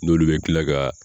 N'olu bɛ tila ka